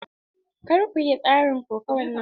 Kar ku yi tsarin kokawan nan!